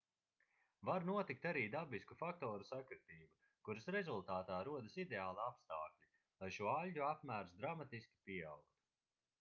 var notikt arī dabisku faktoru sakritība kuras rezultātā rodas ideāli apstākļi lai šo aļģu apmērs dramatiski pieaugtu